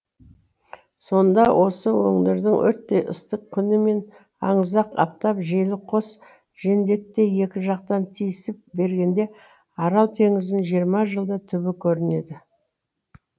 сонда осы өңірдің өрттей ыстық күні мен аңызақ аптап желі қос жендеттей екі жақтан тиісіп бергенде арал теңізінің жиырма жылда түбі көрінеді